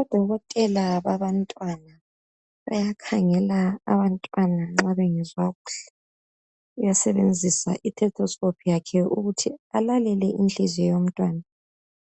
Odokotela babantwana bayakhangela abantwana nxa bengezwa kuhle uyasebenzisa i"stethoscope"ukuthi alale inhliziyo yomntwana